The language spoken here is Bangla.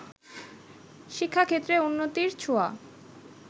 শিক্ষাক্ষেত্রে উন্নতির ছোঁয়া